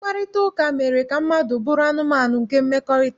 Mkparịtaụka mere ka mmadụ bụrụ anụmanụ nke mmekọrịta